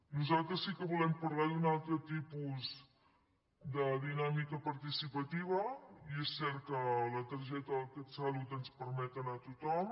nosaltres sí que volem parlar d’un altre tipus de dinàmica participativa i és cert que la targeta del catsalut ens permet anar tothom